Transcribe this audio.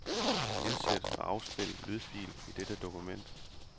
Indsæt og afspil lydfil i dette dokument.